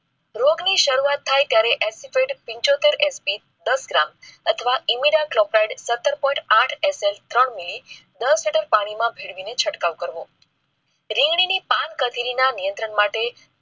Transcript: રોગ ની શરુઆત થાય ત્યારે પંચોતેર SG દસ gram અથવા ઇમિડાક્લોપ્રીડ સત્તર point આઠ SL ત્રણ મીલી દસ લિટર પાણી માં ભેળવીને છંટકાવ કરવો. રીંગણી પાંખડીના નિયંત્રણ માટે.